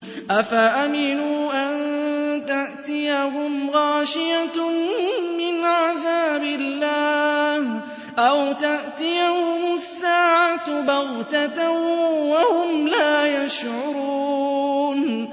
أَفَأَمِنُوا أَن تَأْتِيَهُمْ غَاشِيَةٌ مِّنْ عَذَابِ اللَّهِ أَوْ تَأْتِيَهُمُ السَّاعَةُ بَغْتَةً وَهُمْ لَا يَشْعُرُونَ